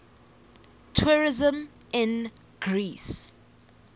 tourism in greece